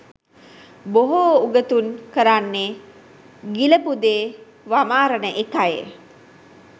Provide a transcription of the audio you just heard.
බොහෝ උගතුන් කරන්නේ ගිලපු දේ වමාරන එකයි